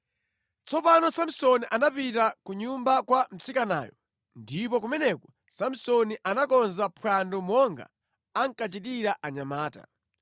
Tsopano Samsoni anapita ku nyumba kwa mtsikanayo. Ndipo kumeneko Samsoni anakonza phwando monga ankachitira anyamata.